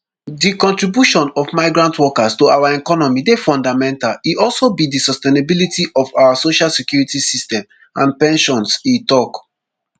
di contribution of migrant workers to our economy dey fundamental e also be di sustainability of our social security system and pensions e tok